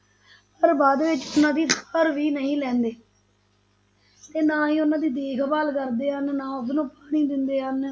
ਪਰ ਬਾਅਦ ਵਿੱਚ ਉਹਨਾਂ ਦੀ ਸਾਰ ਵੀ ਨਹੀਂ ਲੈਂਦੇ ਤੇ ਨਾ ਹੀ ਉਹਨਾਂ ਦੀ ਦੇਖਭਾਲ ਕਰਦੇ ਹਨ, ਨਾ ਉਸਨੂੰ ਪਾਣੀ ਦਿੰਦੇ ਹਨ,